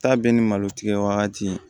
Taa bɛɛ ni malo tigɛ wagati